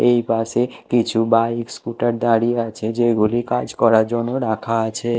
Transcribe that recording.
এই পাশে কিছু বাইক স্কুটার দাঁড়িয়ে আছে যেগুলি কাজ করার জন্য রাখা আছে।